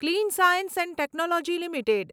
clean science and technology limited